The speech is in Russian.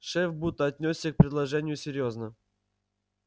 шеф будто отнёсся к предложению серьёзно